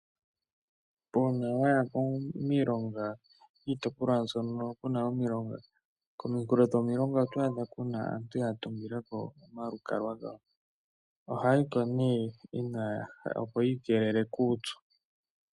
Uuna wayi miilongo, kiitopolwa hoka kuna omilonga. Komunkulo dhomilonga oto adhako kuna aantu ya tungilako omalukalwa gawo. Ohaya yiko ne opo yiikelele kuupyu.